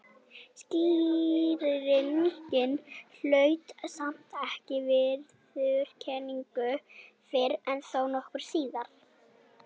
Skýringin hlaut samt ekki viðurkenningu fyrr en þó nokkru síðar.